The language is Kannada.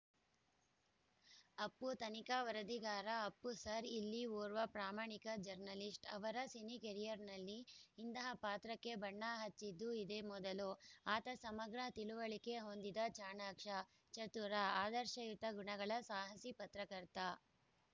ಅಪ್ಪು ತನಿಖಾ ವರದಿಗಾರ ಅಪ್ಪು ಸರ್‌ ಇಲ್ಲಿ ಓರ್ವ ಪ್ರಾಮಾಣಿಕ ಜರ್ನಲಿಸ್ಟ್‌ ಅವರ ಸಿನಿಕರಿಯರ್‌ನಲ್ಲಿ ಇಂತಹ ಪಾತ್ರಕ್ಕೆ ಬಣ್ಣ ಹಚ್ಚಿದ್ದು ಇದೇ ಮೊದಲು ಆತ ಸಮಗ್ರ ತಿಳುವಳಿಕೆ ಹೊಂದಿದ ಚಾಣಾಕ್ಷ ಚತುರ ಆದರ್ಶಯುತ ಗುಣಗಳ ಸಾಹಸಿ ಪತ್ರಕರ್ತ